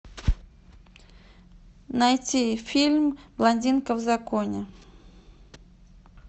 найти фильм блондинка в законе